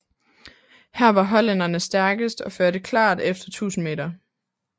Her var hollænderne stærkest og førte klart efter 1000 m